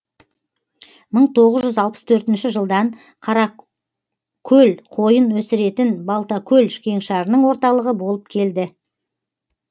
мың тоғыз жүз алпыс төртінші жылдан қара көл қойын өсіретін балтакөл кеңшарының орталығы болып келді